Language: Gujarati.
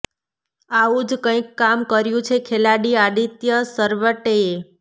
આવું જ કંઈક કામ કર્યું છે ખેલાડી આદિત્ય સરવટેએ